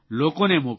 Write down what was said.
લોકોને મોકલો